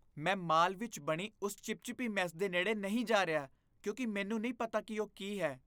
ਮੈਂ ਮਾਲ ਵਿੱਚ ਬਣੀ ਉਸ ਚਿਪਚਿਪੀ ਮੈੱਸ ਦੇ ਨੇੜ੍ਹੇ ਨਹੀਂ ਜਾ ਰਿਹਾ ਕਿਉਂਕਿ ਮੈਨੂੰ ਨਹੀਂ ਪਤਾ ਕਿ ਇਹ ਕੀ ਹੈ।